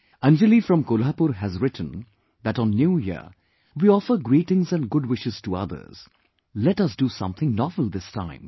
Anjali from Kolhapur has written that on New year, we offer greetings and good wishes to others ...let us do something novel this time